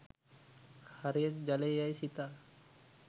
හරියට ජලය යැයි සිතා